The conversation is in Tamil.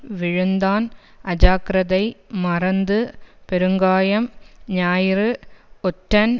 விழுந்தான் அஜாக்கிரதை மறைந்து பெருங்காயம் ஞாயிறு ஒற்றன்